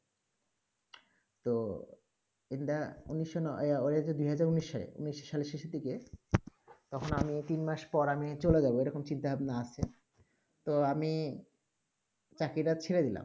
তো in the উনিশ ওইটা হয়েছে দুই হাজার উনিশ সালে উনিশ সালের শেষের দিকে তখন আমি তিন মাস পর আমি চলে যাব এইরকম চিন্তা ভাবনা আছে তো আমি চাকরি টা ছেড়ে দিলাম